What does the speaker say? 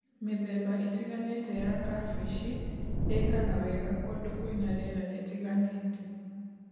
Mĩthemba ĩtiganĩte ya kabeci ĩkaga wega kũndũ kwĩna rĩera rĩtiganĩte.